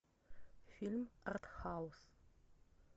фильм артхаус